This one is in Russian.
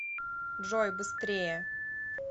джой быстрее